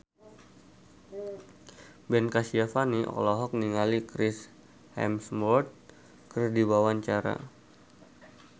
Ben Kasyafani olohok ningali Chris Hemsworth keur diwawancara